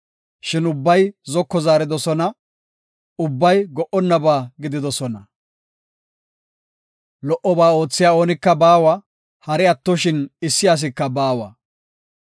Shin ubbay zoko zaaridosona; ubbay go77onnaba gididosona. Lo77oba oothiya oonika baawa; hari attoshin issi asika baawa.